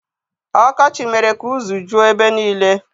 Ọkọchị mere ka uzu juo ebe niile.